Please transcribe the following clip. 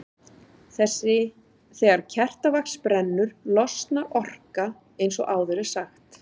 Þegar kertavax brennur losnar orka eins og áður er sagt.